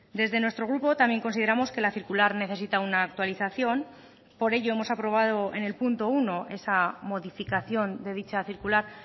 desde nuestro grupo también consideramos que la circular necesita una actualización por ello hemos aprobado en el punto uno esa modificación de dicha circular